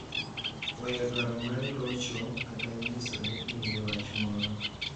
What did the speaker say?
Weyo dwaro mar locho kata nyiso ni in gi wach moro